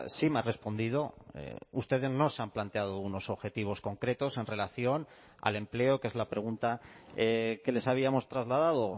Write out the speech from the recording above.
sí me ha respondido ustedes no se han planteado unos objetivos concretos en relación al empleo que es la pregunta que les habíamos trasladado